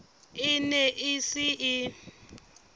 e ne e se e